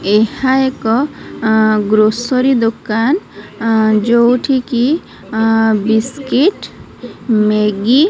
ଏହା ଏକ ଅଁ ଗ୍ରୋସରୀ ଦୋକାନ୍ ଅଁ ଯୋଉଠି କି ଅଁ ବିସ୍କିଟ୍ ମେଗି --